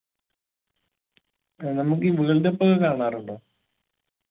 ഏർ നമുക്കി world cup ഒക്കെ കാണാറുണ്ടോ